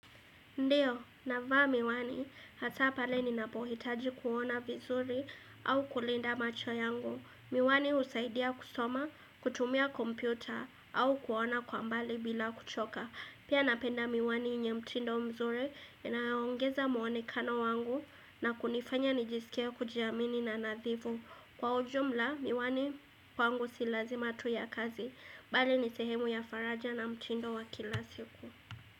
Ndiyo, navaa miwani, hasa pale ninapohitaji kuona vizuri au kulinda macho yangu. Miwani husaidia kusoma, kutumia kompyuta au kuona kwa mbali bila kuchoka. Pia napenda miwani yenye mtindo mzuri, inaongeza muonekano wangu na kunifanya nijisikie kujiamini na nadhifu. Kwa ujumla, miwani kwangu silazima tu ya kazi. Bali nisehemu ya faraja na mtindo wakila siku.